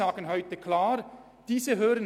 Das gilt etwa für Zürich, Luzern oder Genf.